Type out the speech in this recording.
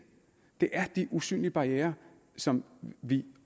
det er de usynlige barrierer som vi